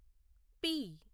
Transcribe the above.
P